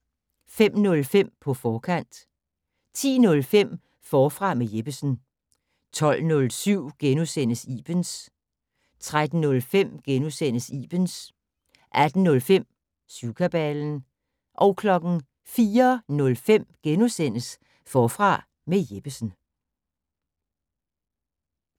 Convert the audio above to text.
05:05: På forkant 10:05: Forfra med Jeppesen 12:07: Ibens * 13:05: Ibens * 18:05: Syvkabalen 04:05: Forfra med Jeppesen *